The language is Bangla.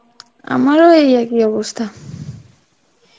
আমারও ওই একই অবস্থা.